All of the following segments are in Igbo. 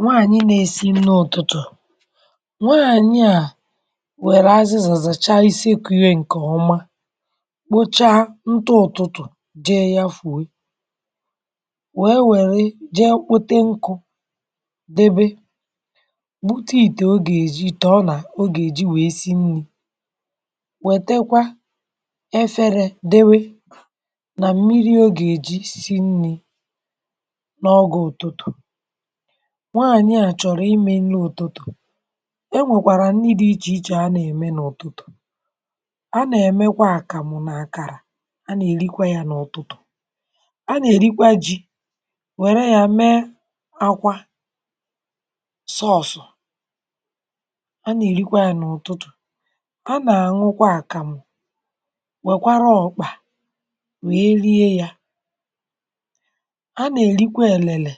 Nwàànyị nà-èsí nni̇ ụ̀tụtụ̀, nwaànyị nye à, wèrè azịzà zàcha isekwu̇ yà ǹkè ọma, kpocha ntụ ụ̀tụtụ̀, jee ya fùwe, wèe wère jee kpòte nkụ̇, debe, bùte ìtè ọ gà-èji, ìtè ọnà ọ gà-èji wée sì nni̇. Wètekwa efere, dòwe nà mmiri ọ gà-èji sì nni̇ n’ọgȧ ụ̀tụtụ̀. Nwàànyị à chọ̀rọ̀ imė nne ụ̀tụtụ̀. um È nwèkwàrà nni̇ dị̇ iche iche à nà-ème n’ụ̀tụtụ̀. À nà-èmekwa àkàmụ̀ n’àkàrà, à nà-èrikwa yà n’ụ̀tụtụ̀, à nà-èrikwa ji̇, nwèrè yà, mèe akwa sọọ̀sụ̀, à nà-èrikwa yà n’ụ̀tụtụ̀. À nà-àṅụkwa àkàmụ̀, nwèkwara ọ̀kpà, wèe rie yà. À nà-èrikwa èlele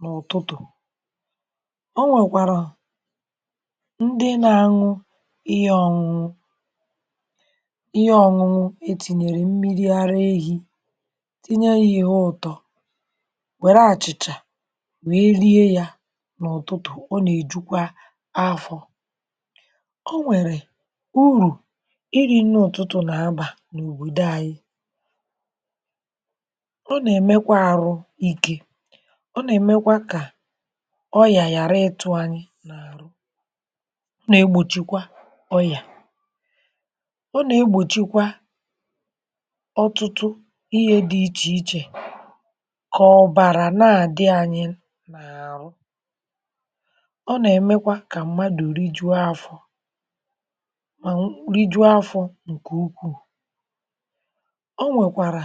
n’ụ̀tụtụ̀. Ọ̀nwèkwàrà ndị nà-àṅụ ihe ọ̇nụ̇nụ̇ ihe ọ̇nụ̇nụ̇ e tìnyèrè mmiri ara ehi̇, tìnye yà ihe ụ̀tọ, wère àchị̀chà, wèe rie yà n’ụ̀tụtụ̀. Ọ nà-èjukwa afọ̇. Ọ̀nwèrè ùrù iri̇ nne ụ̀tụtụ̀ nà-abà n’òbòdo ànyị̇. Ọ̀ nà-èmekwa kà ọyà ghàrà ịtụ̇ ànyị n’àrụ̀. Ọ̀ nà-egbòchikwa ọyà, ọ̀ nà-egbòchikwa ọtụtụ ihe dị̇ iche iche, kà ọ̀bàrà nà-àdị ànyị n’àrụ̀. Ọ̀ nà-èmekwa kà mmàdù rijuo afọ̇ mà rijuo afọ̇ ǹkè ukwuù. Ọ̀nwèkwàrà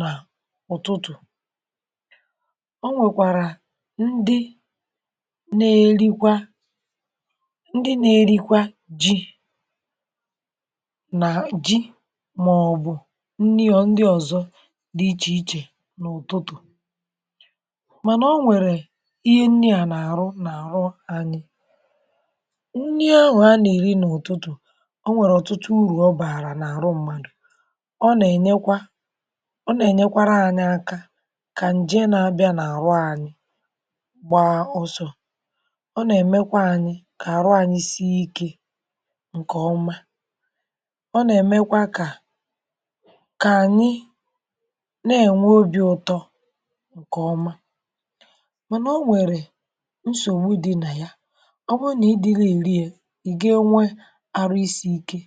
nà ụ̀tụtụ̀, ọ̀nwèkwàrà ndị na-èrikwa, ndị na-èrikwa ji̇ nà ji̇, màọ̀bụ̀ nni̇ ọ̀dị̀, ndị ọ̀zọ̀ dị iche iche n’ụ̀tụtụ̀. Mànà ọ̀nwèrè ihe nni̇ à nà-àrụ n’àrụ̀ ànyị. um Nni̇ ahụ̀ à nà-èri n’ụ̀tụtụ̀, ọ̀nwèrè ọ̀tụtụ ùrù ọ bàrà n’àrụ̀ mmàdù. Ọ̀ nà-ènyekwa, ọ̀ nà-ènyekwa ànyị aka, kà ǹje nà-ábịa n’àrụ̀ ànyị gba ọsọ̇. Ọ̀ nà-èmekwa ànyị kà àrụ̀ ànyị sịe iké ǹkè ọma. Ọ̀ nà-èmekwa kà ànyị nà-ènwè obì̇ ụtọ ǹkè ọma. Mànà ọ̀nwèrè nsògbu dị̇ nà ya ọ̀ bụ̀ nà ị̀dị̇ gà-èri yà, ì gí̇ enwe àrụ̀ isi̇ ike,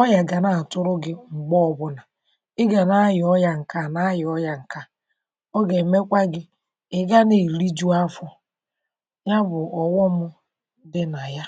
ọyà gà na-àtụ̇rụ̇ gị̇, m̀gbè ọgwụ̀ nà ị̀ gà na-àyà ọyà ǹkè à, nà-àyà ọyà ǹkè à, ọ gà-èmekwa gị̇ ị̀ gà nà èli juu afọ̇; ya bụ̀ ọ̀ghọmụ̇ dị̇ nà ya.